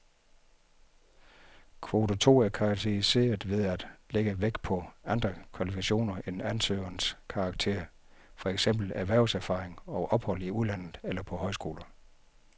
Kvote to er karakteriseret ved at lægge vægt på andre kvalifikationer end ansøgernes karakterer, for eksempel erhvervserfaring og ophold i udlandet eller på højskoler.